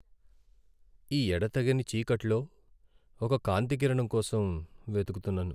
ఈ ఎడతెగని చీకట్లో ఒక కాంతికిరణం కోసం వెతుకుతున్నాను.